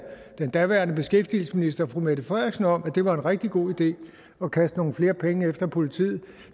den daværende beskæftigelsesminister fru mette frederiksen om at det var en rigtig god idé at kaste nogle flere penge efter politiet